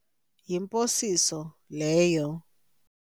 Yimposiso leyo.